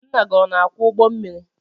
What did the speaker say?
Ńnà gị ọ na akwọ ụgbọ mmiri?